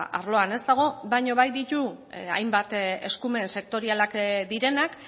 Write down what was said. arloan ez dago baino bai ditu hainbat eskumen sektorialak direnak